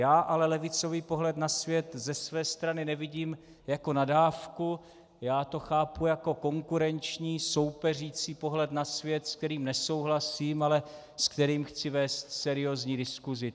Já ale levicový pohled na svět ze své strany nevidím jako nadávku, já to chápu jako konkurenční, soupeřící pohled na svět, s kterým nesouhlasím, ale s kterým chci vést seriózní diskusi.